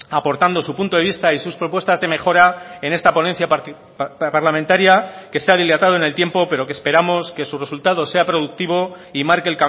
aportando su punto de vista y sus propuestas de mejora en esta ponencia parlamentaria que se ha dilatado en el tiempo pero que esperamos que su resultado sea productivo y marque